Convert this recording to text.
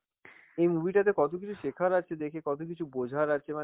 movie টাতে কত কিছু শেখার আছে, দেখে কত কিছু বোঝার আছে